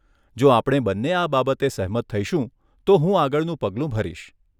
જો આપણે બંને આ બાબતે સહમત થઈશું તો હું આગળનું પગલું ભરીશ.